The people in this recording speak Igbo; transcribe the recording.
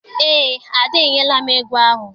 Eé, Ada enyela m ego ahụ.